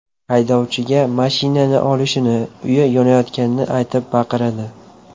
Haydovchiga mashinani olishini, uyi yonayotganini aytib baqiradi.